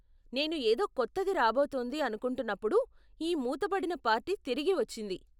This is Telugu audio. నేను ఏదో కొత్తది రాబోతోంది అనుకుంటున్నప్పుడు ఈ మూతబడిన పార్టీ తిరిగి వచ్చింది.